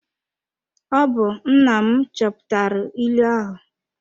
Ọ bụ nna m chọpụtara ịlụ ahụ.